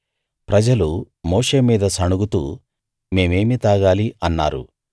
ప్రజలు మోషే మీద సణుగుతూ మేమేమీ తాగాలి అన్నారు